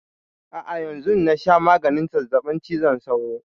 A'a yanzun na sha maganin zazzabin cizon sauro.